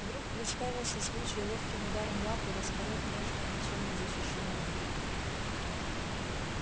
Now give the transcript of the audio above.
вдруг представился случай ловким ударом лапы распороть нежное ничем не защищённое брюхо